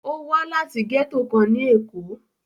Ó wá láti gẹ́tò kan ní Èkó.